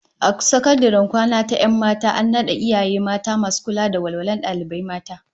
A sakandaren kwana ta 'yan mata an nada iyaye mata masu kula da walwalar dalibai mata